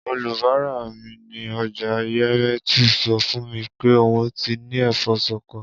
Olùbárà mi ní o̩jà Yemetu so̩ fún mi pe òun ti ní è̩fó̩ s̩o̩ko̩